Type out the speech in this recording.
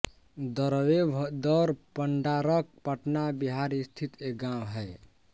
दरवेभदौर पंडारक पटना बिहार स्थित एक गाँव है